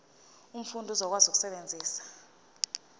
umfundi uzokwazi ukusebenzisa